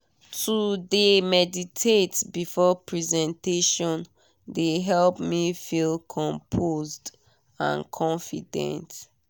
to de meditate before presentation de help me feel composed and confident.